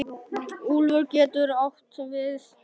Úlfur getur átt við